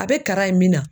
A bɛ kara in min na